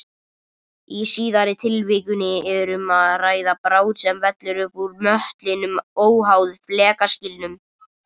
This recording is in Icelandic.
Í síðara tilvikinu er um að ræða bráð sem vellur upp úr möttlinum óháð flekaskilum.